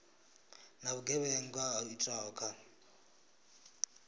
na vhugevhenga ho itwaho kha